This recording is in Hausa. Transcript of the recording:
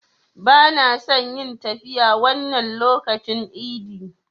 Bana son yin tafiya wannan lokacin idi.